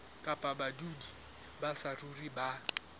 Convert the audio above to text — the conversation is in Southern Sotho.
kapa badudi ba saruri ba